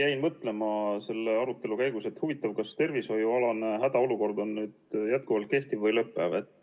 Jäin mõtlema selle arutelu käigus, et huvitav, kas tervishoiualane hädaolukord on nüüd jätkuvalt kehtiv või lõpeb.